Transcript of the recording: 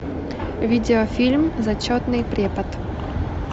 видеофильм зачетный препод